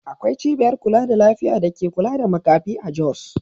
Akwai cibiyar kula da lafiya da ke kula da makafi a Jos.